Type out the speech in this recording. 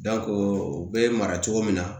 o bɛ mara cogo min na